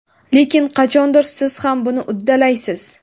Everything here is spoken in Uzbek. Lekin qachondir siz ham buni uddalaysiz.